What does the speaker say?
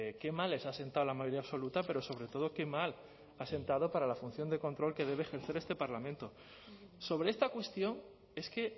qué mal les ha sentado la mayoría absoluta pero sobre todo qué mal ha sentado para la función de control que debe ejercer este parlamento sobre esta cuestión es que